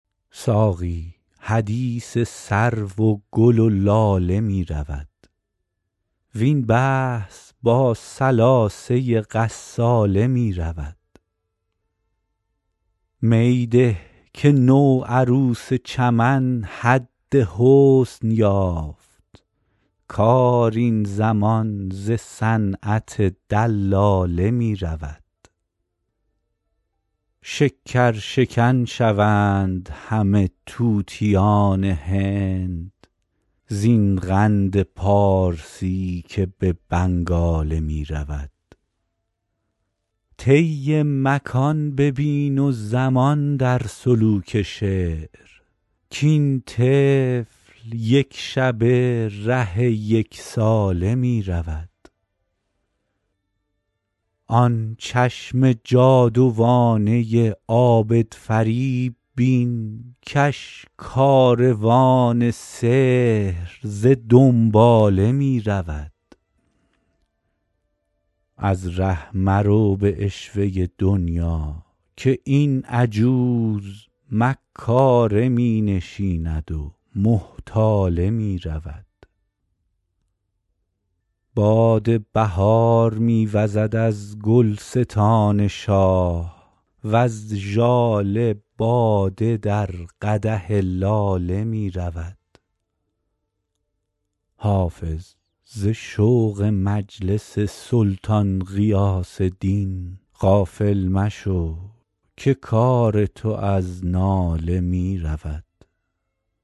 ساقی حدیث سرو و گل و لاله می رود وین بحث با ثلاثه غساله می رود می ده که نوعروس چمن حد حسن یافت کار این زمان ز صنعت دلاله می رود شکرشکن شوند همه طوطیان هند زین قند پارسی که به بنگاله می رود طی مکان ببین و زمان در سلوک شعر کاین طفل یک شبه ره یک ساله می رود آن چشم جادوانه عابدفریب بین کش کاروان سحر ز دنباله می رود از ره مرو به عشوه دنیا که این عجوز مکاره می نشیند و محتاله می رود باد بهار می وزد از گلستان شاه وز ژاله باده در قدح لاله می رود حافظ ز شوق مجلس سلطان غیاث دین غافل مشو که کار تو از ناله می رود